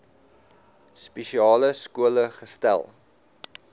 spesiale skole gesetel